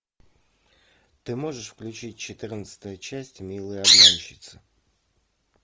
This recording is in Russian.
ты можешь включить четырнадцатая часть милые обманщицы